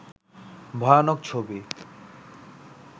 ভয়ানক ছবি